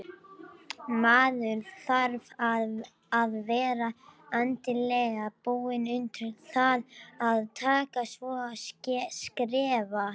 Maður þarf að vera andlega búinn undir það að taka svona skref.